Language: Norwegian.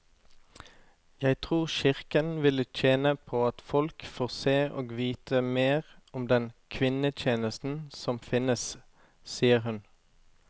Jeg tror kirken ville tjene på at folk får se og vite mer om den kvinnetjenesten som finnes, sier hun.